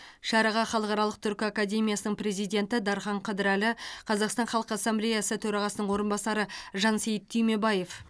шараға халықаралық түркі академиясының президенті дархан қыдырәлі қазақстан халқы ассамблеясы төрағасының орынбасары жансейіт түймебаев